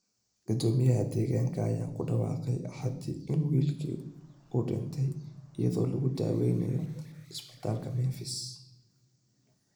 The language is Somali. Gudoomiyaha deegaanka ayaa ku dhawaaqay Axadii in wiilka uu dhintay iyadoo lagu daweynayo isbitaalka Memphis.